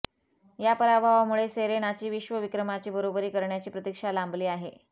या पराभवामुळे सेरेनाची विश्वविक्रमाची बरोबरी करण्याची प्रतीक्षा लांबली आहे